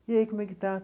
E aí, como é que está?